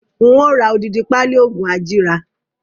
Ń ó ra odidi pali oògùn ajíra